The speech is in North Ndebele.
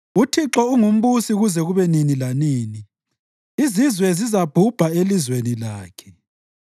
UThixo ungumbusi kuze kube nini lanini; izizwe zizabhubha elizweni lakhe.